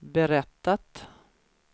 berättat